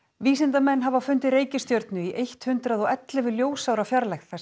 vísindamenn hafa fundið reikistjörnu í eitt hundrað og ellefu ljósára fjarlægð sem